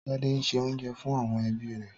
Tádé se oúnjẹ fún àwọn ẹbí rẹ̀?